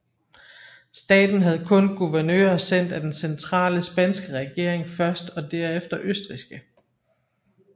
Staten havde kun guvernører sendt af den centrale spanske regering først og derefter østrigske